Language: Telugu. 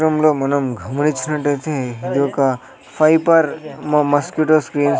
చిత్రంలో మనం గమనిచ్చినట్టైతే ఇది ఒక ఫైపర్ మస్కిటో స్క్రీన్ --